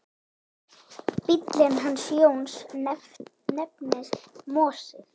Bíllinn hans Jóns nefnist Mosi.